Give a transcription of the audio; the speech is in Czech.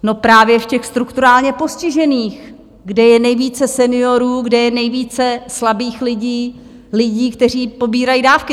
No právě v těch strukturálně postižených, kde je nejvíce seniorů, kde je nejvíce slabých lidí, lidí, kteří pobírají dávky!